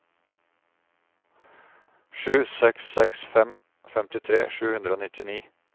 sju seks seks fem femtitre sju hundre og nittini